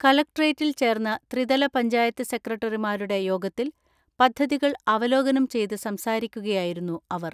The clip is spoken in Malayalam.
കളക് ട്രേറ്റിൽ ചേർന്ന ത്രിതല പഞ്ചായത്ത് സെക്രട്ടറിമാരുടെ യോഗത്തിൽ പദ്ധതികൾ അവലോകനം ചെയ്ത് സംസാരിക്കുകയായിരുന്നു അവർ.